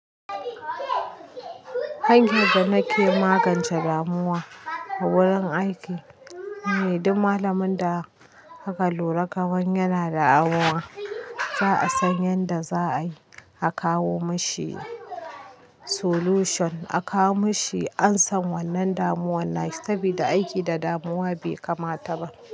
Hanyar da nake magance damuwa a wurin aiki ne, duk malamin da aka lura kaman yana da damuwa, za a san yadda za a yi, a kawo mashi solution, a kawo mashi an san wannan damuwar na saboda aiki da damuwa bai kamata ba.